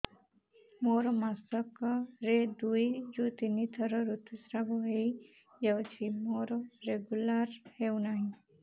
ମୋର ମାସ କ ରେ ଦୁଇ ରୁ ତିନି ଥର ଋତୁଶ୍ରାବ ହେଇଯାଉଛି ମୋର ରେଗୁଲାର ହେଉନାହିଁ